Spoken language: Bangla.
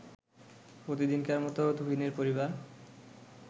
প্রতিদিনকার মতো তুহিনের পরিবার